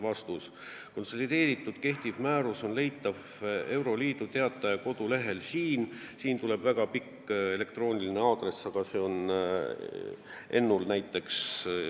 Vastus oli, et konsolideeritud kehtiv määrus on leitav Euroopa Liidu Teataja kodulehelt, toodud on ka väga pikk elektrooniline aadress, aga see on Ennul meilis olemas.